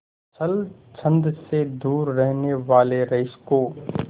छल छंद से दूर रहने वाले रईस को